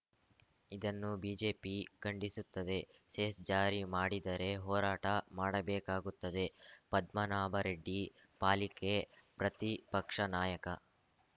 ಇದನ್ನು ಬಿಜೆಪಿ ಖಂಡಿಸುತ್ತದೆ ಸೆಸ್‌ ಜಾರಿ ಮಾಡಿದರೆ ಹೋರಾಟ ಮಾಡಬೇಕಾಗುತ್ತದೆ ಪದ್ಮನಾಭರೆಡ್ಡಿ ಪಾಲಿಕೆ ಪ್ರತಿಪಕ್ಷ ನಾಯಕ